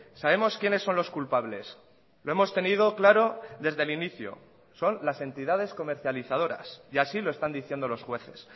sabemos quiénes son los culpables lo hemos tenido claro desde el inicio son las entidades comercializadoras y así lo están diciendo los jueces